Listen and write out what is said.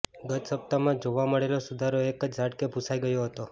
ગત સપ્તાહમાં જોવા મળેલો સુધારો એક જ ઝાટકે ભૂંસાઈ ગયો હતો